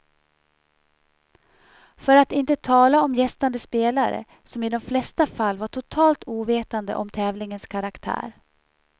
För att inte tala om gästande spelare, som i de flesta fall var totalt ovetande om tävlingens karaktär.